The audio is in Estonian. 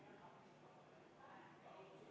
Läheme istungiga edasi.